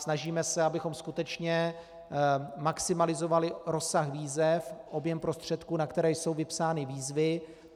Snažíme se, abychom skutečně maximalizovali rozsah výzev, objem prostředků, na které jsou vypsány výzvy.